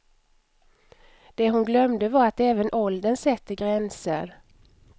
Det hon glömde var att även åldern sätter gränser.